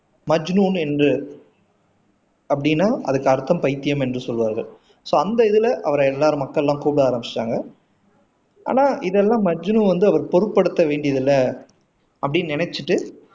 மஜ்னுன் என்று அப்படின்னா அதுக்கு அர்த்தம் பைத்தியம் என்று சொல்வார்கள் சோ அந்த இதுல அவரை எல்லாரும் மக்கள்லாம் கூப்பிட ஆரம்பிச்சாங்க ஆனா இதெல்லாம் மஜ்னு வந்து அவரு பொருட்படுத்த வேண்டியது இல்ல அப்படி நினைச்சிட்டு